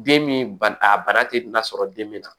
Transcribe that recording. Den min ba a bana tɛ nafa sɔrɔ den min na